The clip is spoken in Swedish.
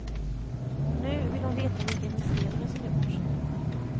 Nu vill hon veta vilka investeringar som gjorts.